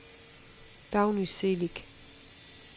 Dagny Celik